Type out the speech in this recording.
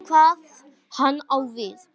Veit ekki hvað hann á við.